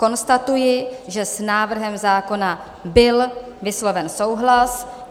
Konstatuji, že s návrhem zákona byl vysloven souhlas.